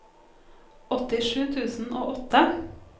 åttisju tusen og åtte